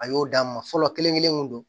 A y'o d'a ma fɔlɔ kelen kelen mun don